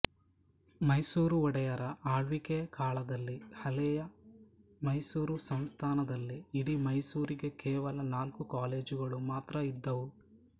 ಮೈಸೂರು ಒಡೆಯರ ಆಳ್ವಿಕೆಯಕಾಲದಲ್ಲಿ ಹಳೆಯ ಮೈಸೂರು ಸಂಸ್ಥಾನದಲ್ಲಿ ಇಡೀ ಮೈಸೂರಿಗೆ ಕೇವಲ ನಾಲ್ಕು ಕಾಲೇಜುಗಳು ಮಾತ್ರ ಇದ್ದುವು